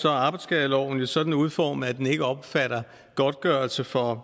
arbejdsskadeloven jo sådan udformet at den ikke omfatter godtgørelse for